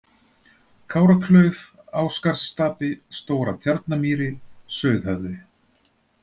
Káraklauf, Ásgarðsstapi, Stóra-Tjarnamýri, Sauðhöfði